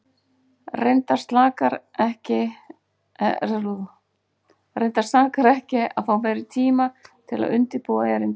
Reyndar sakar ekki að fá meiri tíma til að undirbúa erindið.